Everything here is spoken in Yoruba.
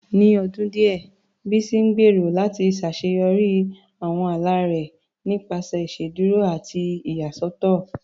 Ní ọdún díẹ̀, Bísí ń gbèrò láti ṣàṣeyọrí àwọn ala rẹ̀ nípasẹ̀ ìṣèdúró àti ìyàsọ́tọ̀